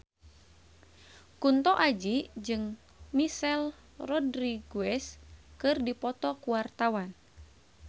Kunto Aji jeung Michelle Rodriguez keur dipoto ku wartawan